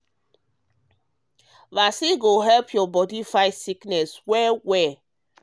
vaccine go help your body fight disease well well.